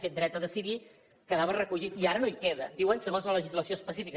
aquest dret a decidir quedava recollit i ara no hi queda diuen segons la legislació específica